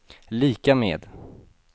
lika med